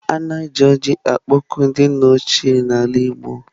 A na-eji ọjị akpọku ndị nna ochie na ala igbo.